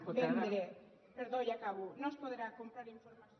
vendre perdó ja acabo no es podrà comprar informació